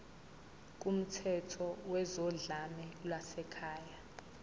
kumthetho wezodlame lwasekhaya